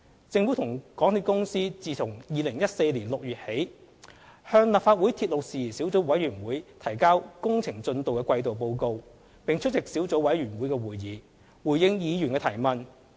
政府與港鐵公司自2014年6月起，向立法會鐵路事宜小組委員會提交工程進度的季度報告，並出席小組委員會會議，回應議員的提問。